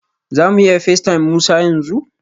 Za mu iya facetime Musa yanzu?